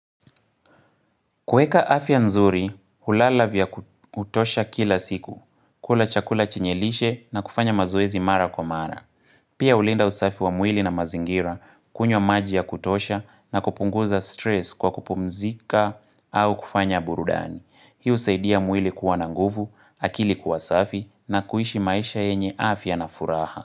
Kueka afya nzuri, hulala vya kutosha kila siku, kula chakula chenyelishe na kufanya mazoezi mara kwa mara. Pia ulinda usafi wa mwili na mazingira, kunywa maji ya kutosha na kupunguza stress kwa kupumzika au kufanya burudani. Hii husaidia mwili kuwa nanguvu, akili kuwa safi na kuishi maisha yenye afya na furaha.